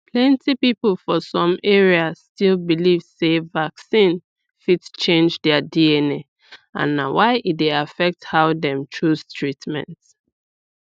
plenty people for some areas still belive sey vaccine fit change their dna and na why e dey affect how dem chose treatments